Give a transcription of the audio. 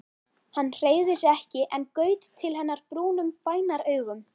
Hann hreyfði sig ekki en gaut til hennar brúnum bænaraugum.